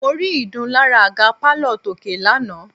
Mo rí ìdun lára àga pálọ̀ Tóké lánàá.